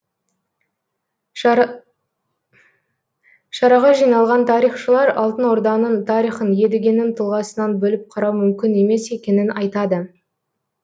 шараға жиналған тарихшылар алтын орданың тарихын едігенің тұлғасынан бөліп қарау мүмкін емес екенін айтады